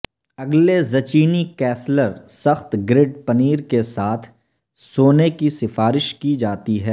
اگلے zucchini casserole سخت گرڈ پنیر کے ساتھ سونے کی سفارش کی جاتی ہے